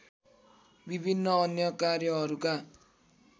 विभिन्न अन्य कार्यहरूका